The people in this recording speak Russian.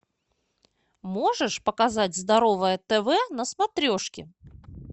можешь показать здоровое тв на смотрешке